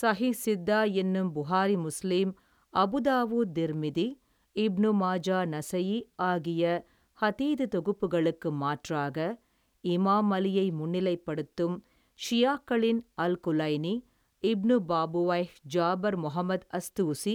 ஸஹிஹ்ஸித்தா என்னும் Bukhari Muslim Abu Dawud Tirmidhi Ibn Majah Nasai ஆகிய ஹதீது தொகுப்புகளுக்கு மாற்றமாக இமாம் அலியை முன்னிலைப்படுத்தும் ஷியாக்களின் அல்குலைனி இப்னு பாபுவைஹ் ஜாபர் மொகமத் அஸ்தூஸி